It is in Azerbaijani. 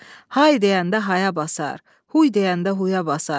Hay deyəndə haya basar, huy deyəndə huya basar.